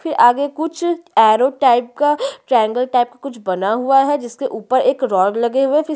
की आगे कुछ आरो टाइप का ट्रायंगल टाइप कुछ बना हुआ है जिसके ऊपर कुछ रॉड लगे हुए हैं।